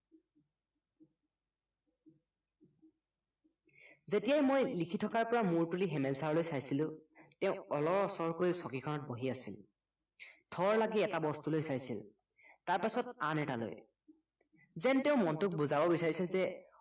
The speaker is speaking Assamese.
যেতিয়াই মই লিখি থকাৰ পৰা মূৰ তুলি হেমেল চৰলৈ চাইচিলো তেওঁ অলৰ অচৰকৈ চকীখনত বহি আছিল থৰ লাগি এটা বস্তুলৈ চাইছিল তাৰপাছত আন এটালৈ যেন তেওঁ মনটোক বুজাব বিচাৰিছে যে